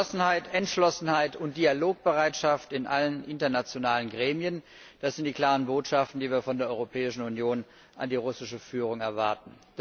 Geschlossenheit, Entschlossenheit und Dialogbereitschaft in allen internationalen Gremien das sind die klaren Botschaften, die wir von der Europäischen Union an die russische Führung erwarten.